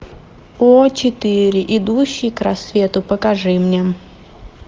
о четыре идущий к рассвету покажи мне